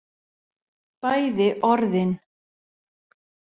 Bæði orðin